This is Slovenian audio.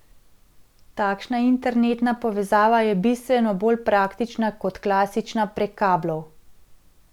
Takšna internetna povezava je bistveno bolj praktična kot klasična prek kablov.